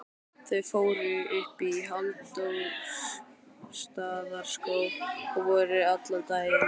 Þau fóru upp í Hallormsstaðarskóg og voru allan daginn.